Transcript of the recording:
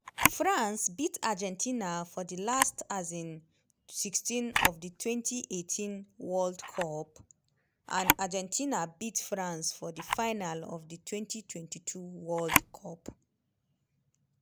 france beat argentina for di last um 16 of di 2018 world cup and argentina beat france for di final of di 2022 world cup.